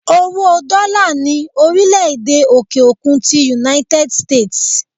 Owó Dola ni orile-ede òkè-òkun ti "United States"